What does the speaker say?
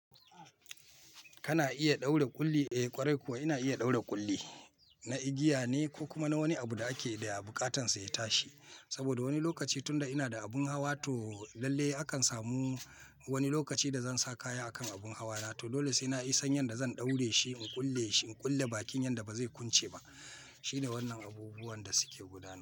Kana iya ɗaura ƙulli, eh ƙwarai kuwa ina iya ɗaura ƙulli. Na igiya ne ko kuma na wani abu da ake da ya buƙatan sa ya tashi. Saboda wani lokaci tunda ina da abun hawa to lalle akan samu wani lokaci da zan sa kaya a kan abun hawa na to dole sai ina iya san yadda zan ɗaure shi in ƙulle shi, in ƙulle bakin yadda ba zai kunce ba. Shine wannan abubuwan da suke gudana.